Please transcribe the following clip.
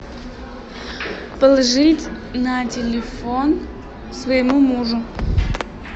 положить на телефон своему мужу